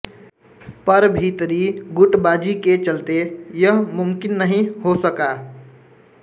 पर भीतरी गुटबाजी के चलते यह मुमकिन नहीं हो सका